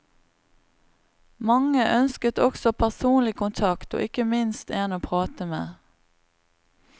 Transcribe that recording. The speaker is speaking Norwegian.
Mange ønsket også personlig kontakt og ikke minst en å prate med.